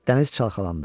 Dəniz çalxalandı.